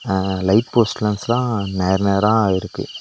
அ light post லாம்ப்ஸ்லா நேர் நேரா இருக்கு.